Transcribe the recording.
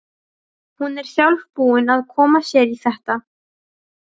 Hún er sjálf búin að koma sér í þetta.